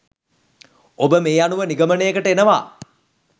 ඔබ මේ අනුව නිගමනයකට එනවා